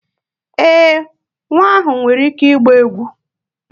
Ee, nwa ahụ nwere ike ịgba egwu